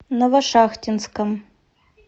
новошахтинском